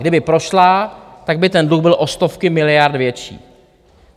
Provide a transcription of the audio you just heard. Kdyby prošla, tak by ten dluh byl o stovky miliard větší.